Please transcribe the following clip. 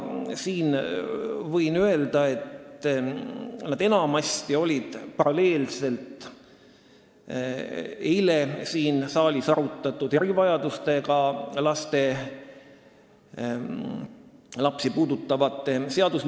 Ma võin öelda, et enamasti toimusid arutelud paralleelselt erivajadustega lapsi puudutavate seadusmuudatuste aruteluga, see arutelu toimus ka eile siin saalis.